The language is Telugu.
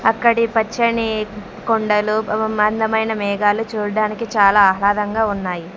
అక్కడి పచ్చని కొండలు వ వ మందమైన మేఘాలు చూడడానికి చాలా ఆహ్లాదంగా ఉన్నాయి.